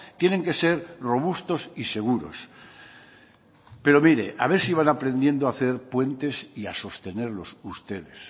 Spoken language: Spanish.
tienen que ser robustos y seguros pero mire a ver si van aprendiendo a hacer puentes y a sostenerlos ustedes